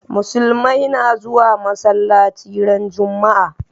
Musulmai na zuwa masalaci ran juma'a